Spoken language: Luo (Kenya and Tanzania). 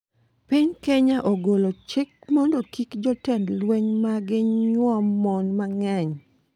Piny Kenya ogolo chik mondo kik jotend lweny mage nyuom mon mang'eny